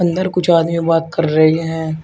अंदर कुछ आदमी बात कर रहे हैं।